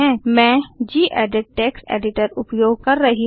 मैं gedit text editor उपयोग कर रही हूँ